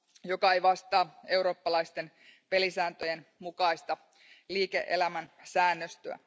joka ei vastaa eurooppalaisten pelisääntöjen mukaista liike elämän säännöstöä.